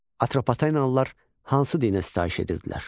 Atropatenalılar hansı dinə sitayiş edirdilər?